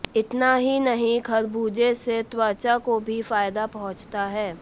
इतना ही नहीं खरबूजे से त्वचा को भी फायदा पहुंचता है